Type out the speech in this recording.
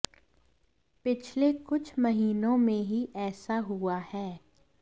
पिछले कुछ महीनों में ही ऐसा हुआ है